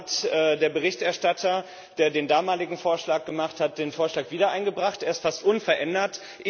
Nun hat der Berichterstatter, der den damaligen Vorschlag gemacht hat, den Vorschlag wieder eingebracht, er ist fast unverändert.